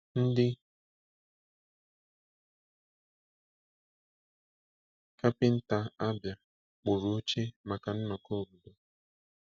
Ndị kapịnta Abia kpụrụ oche maka nnọkọ obodo.